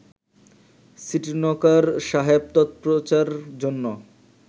সীটনকার সাহেব তৎপ্রচার-জন্য